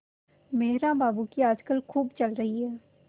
मेहरा बाबू की आजकल खूब चल रही है